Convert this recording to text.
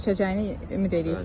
Keçəcəyini ümid eləyirsən.